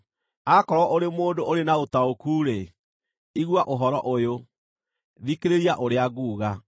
“Akorwo ũrĩ mũndũ ũrĩ na ũtaũku-rĩ, igua ũhoro ũyũ; thikĩrĩria ũrĩa nguuga.